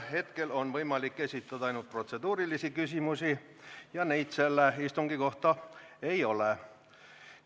Hetkel on võimalik esitada ainult protseduurilisi küsimusi ja neid selle istungi kohta ei ole.